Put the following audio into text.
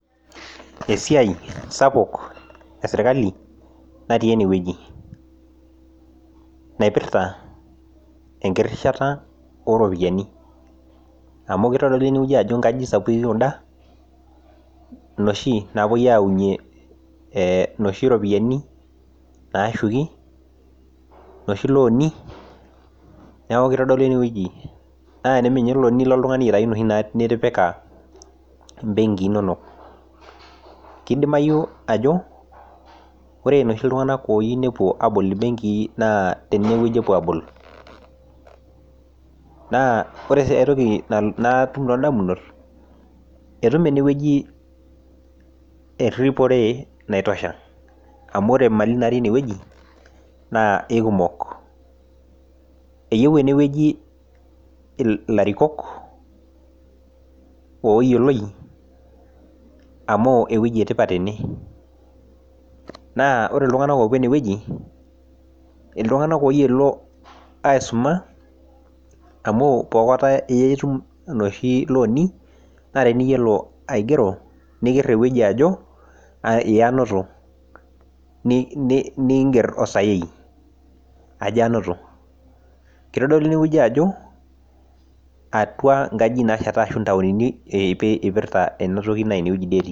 Esiai sapuk esirkali natii enewueji naipirta enkirishata oropiani amu kitodolu nkajijik sapukin kuda enoshi napuoi aunie enoshie ropiani nashuki enoshi loani nilo ninye oltung'ani aitau enoshi nitipika benki enono kidimayu Ajo ore eloshi tung'ana oyieu nepuo abol benkii naa tenewueji epuo abol naa ore aitoki natum too damunot etum enewueji eripote naitosha amu ore Mali natii enewueji naa ekumok eyieu enewueji elarikok oyioloi amu ewueji etipat ene naa ore iltung'ana opuo enewueji iltung'ana oyiolo aisuma amu pokota etum enoshii looni naa teniyiolo aigero nikir ewueji Ajo yee anoto niger osayei Ajo anoto kitodolu enewueji Ajo nkajijik nasheta ashu ntaoni epirta ena toki naa enewueji doi etii